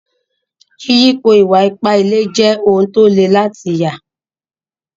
Yìyípo ìwà-ìpà ìlẹ̀ lè jẹ́ ọ̀un tó lè látì yà.